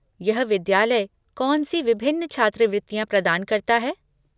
यह विद्यालय कौन सी विभिन्न छात्रवृत्तियाँ प्रदान करता है?